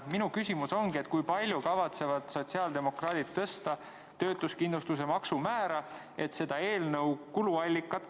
Minu küsimus ongi, kui palju kavatsevad sotsiaaldemokraadid tõsta töötuskindlustusmakse määra, et katta selle eelnõu kuluallikat.